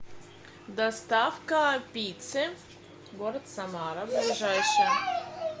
доставка пиццы город самара ближайшая